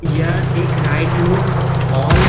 यह एक right look आल --